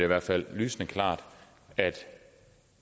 i hvert fald lysende klart at